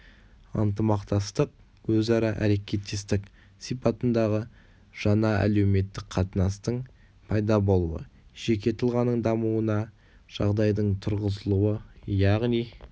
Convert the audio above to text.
ынтымақтастық өзара әрекеттестік сипатындағы жаңа әлеуметтік қатынастың пайда болуы жеке тұлғаның дамуына жағдайдың туғызылуы яғни